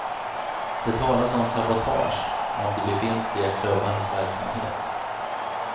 Det talas om sabotage av de befintliga klubbarnas verksamhet.